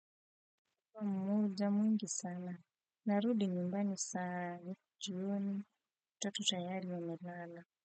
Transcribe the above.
Muda mwingi sana narudi nyumbani saa nne jioni watoto tayari wamelala.